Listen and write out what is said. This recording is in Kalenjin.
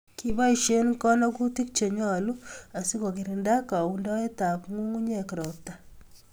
Kiboisie konogutik chenyolu asikogirinda kaundoetap ngungunyek ropta